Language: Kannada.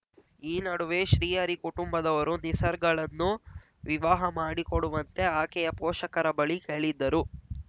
ಈ ನಡುವೆ ಶ್ರೀ ಹರಿ ಕುಟುಂಬದವರು ನಿಸರ್ಗಳನ್ನು ವಿವಾಹ ಮಾಡಿಕೊಡುವಂತೆ ಆಕೆಯ ಪೋಷಕರ ಬಳಿ ಹೇಳಿದ್ದರು